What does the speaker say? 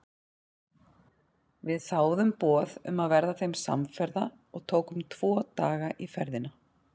Við þáðum boð um að verða þeim samferða og tókum tvo daga í ferðina.